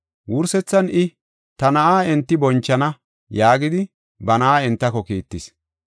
Wursethan I, ‘Ta na7aa enti bonchana!’ yaagidi ba na7aa entako kiittis.